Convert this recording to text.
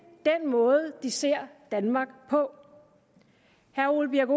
den måde de ser danmark på herre ole birk